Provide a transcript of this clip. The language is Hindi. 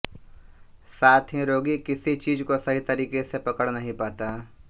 साथ ही रोगी किसी चीज को सही तरीके से पकड़ नहीं पाता